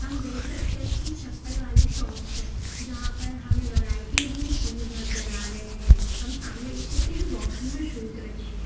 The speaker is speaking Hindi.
हम देख सकते हैं कि चप्पल वाली शॉप है जहां पर हमें वैराइटीज में शूज नजर आ रहे हैं हम सामने देख सकते कि बॉक्स में शूज रखे।